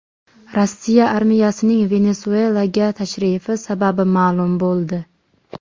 Rossiya armiyasining Venesuelaga tashrifi sababi ma’lum bo‘ldi.